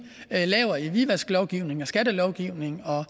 laver i hvidvasklovgivningen og skattelovgivningen og